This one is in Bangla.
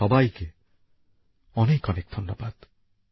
আপনাদের সবাইকে অনেক অনেক ধন্যবাদ